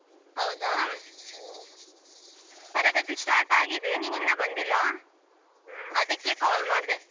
ಹೌದಾ ತರಗತಿ start ಆಗಿದೆ ನೀನ್ ಇನ್ನ ಬಂದಿಲ್ಲ ಅದಿಕ್ಕೆ call ಮಾಡದೆ.